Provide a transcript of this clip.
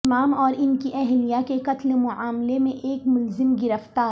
امام اور ان کی اہلیہ کے قتل معاملہ میں ایک ملزم گرفتار